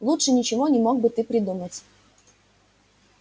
лучше ничего не мог бы ты придумать